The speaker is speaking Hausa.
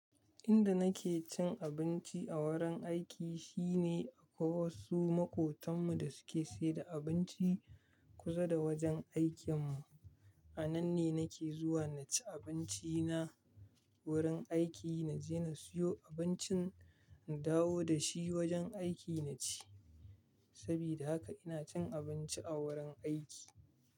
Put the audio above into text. Inda nake cin abinci a wurin aiki shine akwai wasu maƙotanmu da suke saida abinci kusa da wajen aikinmu. A nan ne nake zuwa na ci abinci na wurin aiki. Na je na siyo abincin, na dawo da shi wajen aikin na ci. Sabida haka ina cin abinci a wurin aiki.